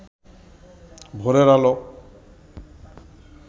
ভোরের আলো